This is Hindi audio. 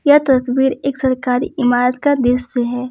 यह तस्वीर एक सरकारी इमारत का दृश्य है।